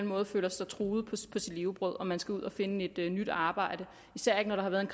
måde føler sig truet på sit levebrød og man skal ud og finde et nyt arbejde især ikke når der har været en